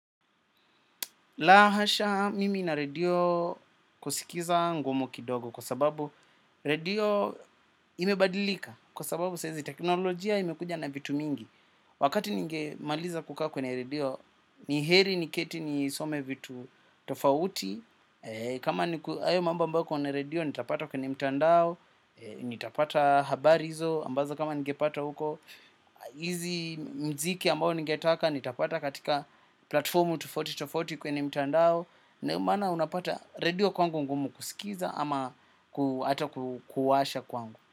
La hasha, mimi na redio kusikiza ngumu kidogo kwa sababu redio imebadilika kwa sababu sahizi teknolojia imekuja na vitu mingi. Wakati ninge maliza kukaa kwenye redio, ni heri ni keti nisome vitu tofauti. Kama hayo mambo ambao kwenye redio, nitapata kwenye mtandao, nitapata habari hizo, ambazo kama ningepata uko. Hizi mziki ambao ningetaka nitapata katika platformu tofauti tofauti kwenye mtandao ndio maana unapata redio kwangu ngumu kusikiza ama kuata kuwasha kwangu.